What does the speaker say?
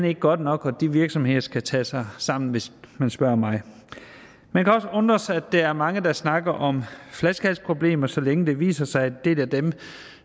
ikke godt nok og de virksomheder skal tage sig sammen hvis man spørger mig man kan også undre sig over at der er mange der snakker om flaskehalsproblemer så længe det viser sig at dem